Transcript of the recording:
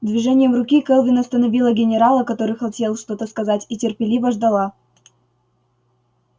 движением руки кэлвин остановила генерала который хотел что-то сказать и терпеливо ждала